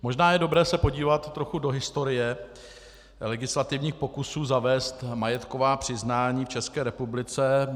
Možná je dobré se podívat trochu do historie legislativních pokusů zavést majetková přiznání v České republice.